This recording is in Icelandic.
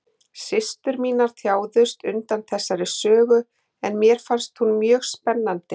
Systur mínar þjáðust undan þessari sögu en mér fannst hún mjög spennandi.